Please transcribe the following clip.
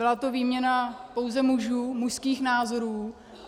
Byla to výměna pouze mužů, mužských názorů.